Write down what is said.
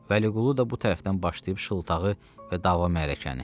Vəliqulu da bu tərəfdən başlayıb şıltağı və dava mərakəni.